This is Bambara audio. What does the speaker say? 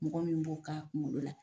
Mɔgɔ min b'o k'a kungolo la